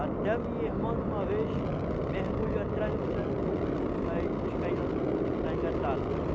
Até minha irmã, em uma vez, mergulhou atrás do pirarucu para ir para ir buscar ele lá no fundo, que estava engatado.